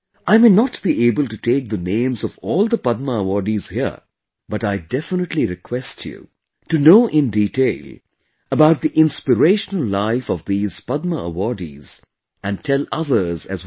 I may not be able to take the names of all the Padma awardees here, but I definitely request you to know in detail about the inspirational life of these Padma awardees and tell others as well